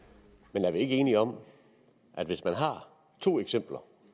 men er vi ikke enige om at hvis man har to eksempler